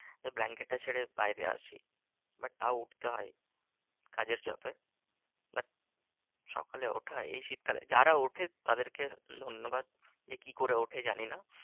যে blanket টা ছেড়ে বাইরে আসি but তাও উঠতে হয় কাজের চাপে। but সকালে ওঠা এই শীতকালে যারা ওঠে তাদেরকে ধন্যবাদ। যে কি করে ওঠে জানি না?